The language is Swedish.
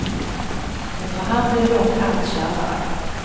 Efter hand blev det dock allt kärvare.